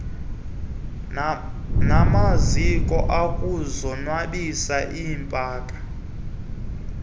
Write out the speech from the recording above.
namaziko okuzonwabisa iipaka